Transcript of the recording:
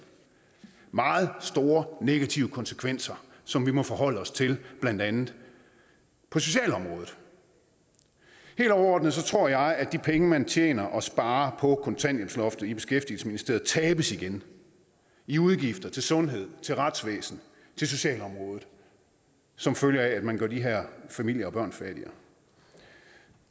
meget store negative konsekvenser som vi må forholde os til blandt andet på socialområdet helt overordnet tror jeg at de penge man tjener og sparer på kontanthjælpsloftet i beskæftigelsesministeriet tabes igen i udgifter til sundhed til retsvæsen til socialområdet som følge af at man gør de her familier og børn fattigere